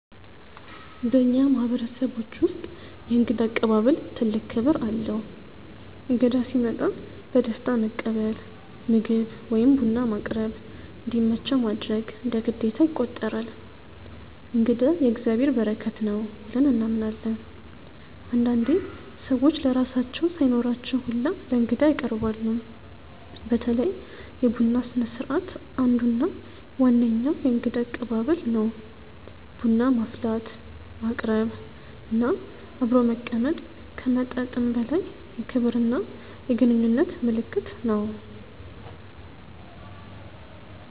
በእኛ ማህበረሰቦች ውስጥ የእንግዳ አቀባበል ትልቅ ክብር አለው። እንግዳ ሲመጣ በደስታ መቀበል፣ ምግብ ወይም ቡና ማቅረብ፣ እንዲመቸው ማድረግ እንደ ግዴታ ይቆጠራል። “እንግዳ የእግዚአብሔር በረከት ነው” ብለን እናምናለን። አንዳንዴ ሰዎች ለራሳቸው ሳይኖራቸው ሁላ ለእንግዳ ያቀርባሉ። በተለይ የቡና ስነስርዓት አንዱ እና ዋነኛው የእንግዳ አቀባበል ነው። ቡና ማፍላት፣ ማቅረብ እና አብሮ መቀመጥ ከመጠጥም በላይ የክብርና የግንኙነት ምልክት ነው።